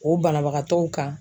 O banabagatɔw kan